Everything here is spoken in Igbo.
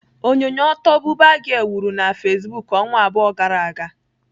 Onyonyo ọtọ 'Buba girl' wuru na Facebook ọnwa abụọ gara aga.